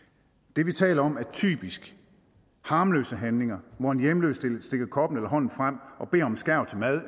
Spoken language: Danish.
det vi taler om er typisk harmløse handlinger hvor en hjemløs stikker koppen eller en hånd frem og beder om en skærv til mad